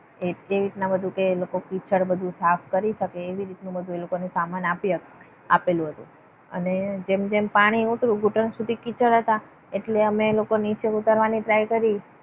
એ રીતના કે લોકો બધું સાફ કરી શકે. એવી રીતના એ લોકોને બધું સામાન આપી આવેલું હતું. અને જેમ જેમ પાણી ઓછું ઘૂંટણ સુધી કિચડ હતા. એટલે અમે લોકો નીચે ઉતારવાની try કરી.